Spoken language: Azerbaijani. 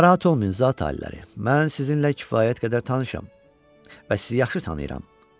Narahat olmayın zat aliləri, mən sizinlə kifayət qədər tanışam və sizi yaxşı tanıyıram.